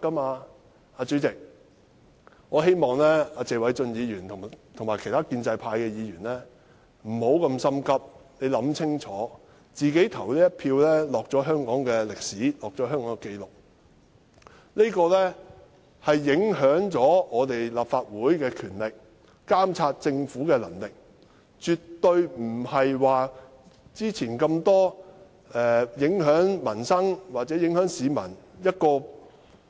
代理主席，我希望謝偉俊議員及其他建制派議員不要過於心急，請考慮清楚，因為他們即將投的一票將會記錄在香港歷史中，這將影響立法會監察政府的權力、能力，跟以往眾多影響民生或市民的